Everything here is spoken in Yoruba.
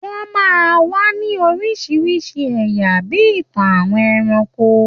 Wọ́n máa ń wà ní oríṣiríṣi ẹ̀yà, bí i ìtàn àwọn ẹranko.